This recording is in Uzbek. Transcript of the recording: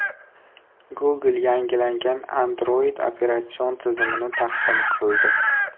Google yangilangan Android operatsion tizimini taqdim qildi.